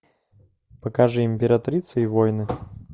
покажи императрица и воины